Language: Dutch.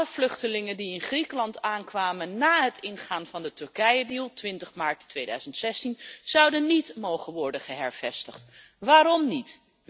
Alle vluchtelingen die in Griekenland aankwamen na het ingaan van de deal met Turkije op 20 maart 2016, zouden niet mogen worden hervestigd. Waarom niet?